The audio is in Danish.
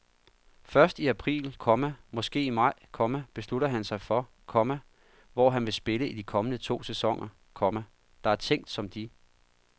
Først i april, komma måske i maj, komma beslutter han sig for, komma hvor han vil spille i de kommende to sæsoner, komma der er tænkt som de